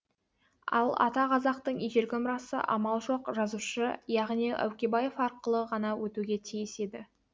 ал ата қазақтың ежелгі мұрасы амал жоқ жазушы яғни әукебаев арқылы ғана өтуге тиіс еді